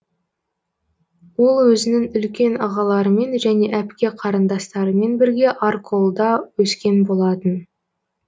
ол өзінің үлкен ағаларымен және әпке қарындастарымен бірге арколда өскен болатын